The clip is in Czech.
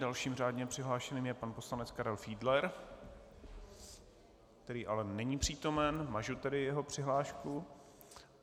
Dalším řádně přihlášeným je pan poslanec Karel Fiedler, který ale není přítomen, mažu tedy jeho přihlášku.